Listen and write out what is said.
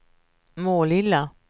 Målilla